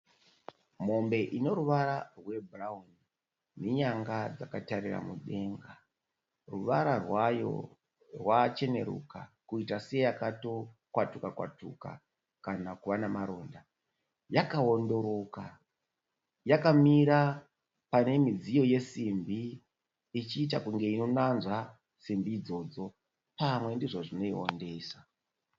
Mombe ino ruvara rwebhurauni nenyanga dzakatarira mudenga. Ruvara rwayo rwacheneruka kuita seyakatokwatuka kwatuka kana kuva namaronda. Yakaondoroka. Yakamira pamidziyo yesimbi ichiita kunge inonanzva simbi idzodzo. Pamwe ndizvo zvinoiondesa.